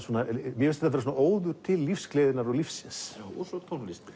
mér finnst þetta vera óður til lífsgleðinnar og lífsins og svo tónlistin